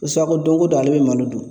Ko ko don ko don ale be malo dun